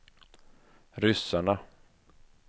ryssarna